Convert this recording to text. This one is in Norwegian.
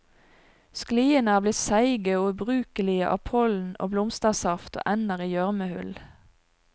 Skliene er blitt seige og ubrukelige av pollen og blomstersaft og ender i gjørmehull.